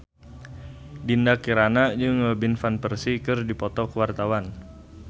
Dinda Kirana jeung Robin Van Persie keur dipoto ku wartawan